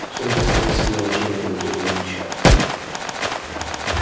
в центре стола сидел начальник комитета лин чен